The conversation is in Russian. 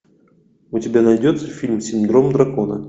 у тебя найдется фильм синдром дракона